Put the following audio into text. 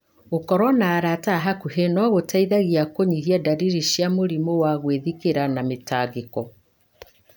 Gũkorũo na arata a hakuhĩ no gũteithie kũnyihia ndariri cia mũrimũ wa gwĩthikĩra na mĩtangĩko.